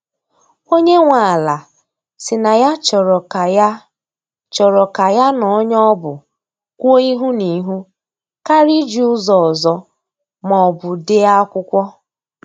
Onye nwe ala si na ya chọrọ ka ya chọrọ ka ya na onye ọ bụ kwuo ihu na ihu karịa iji ụzọ ọzọ ma ọbụ dee akwụkwọ.